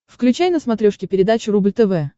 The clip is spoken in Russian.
включай на смотрешке передачу рубль тв